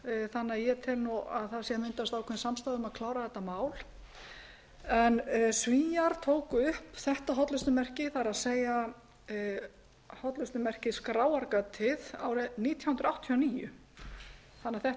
þannig að ég tel að það sé að myndast ákveðin samstaða um að klára þetta mál svíar tóku upp þetta hollustumerki það er hollustumerkið skráargatið árið nítján hundruð áttatíu og níu þannig að þetta er